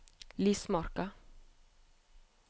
Lismarka